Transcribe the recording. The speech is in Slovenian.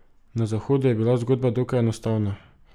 Na Zahodu je bila zgodba dokaj enostavna.